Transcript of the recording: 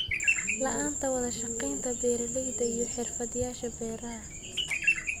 La'aanta wada shaqaynta beeralayda iyo xirfadlayaasha beeraha.